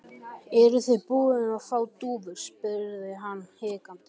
Eruð þið búnir að fá dúfur? spyr hann hikandi.